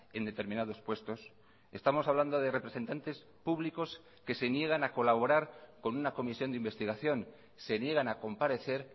en determinados puestos estamos hablando de representantes públicos que se niegan a colaborar con una comisión de investigación se niegan a comparecer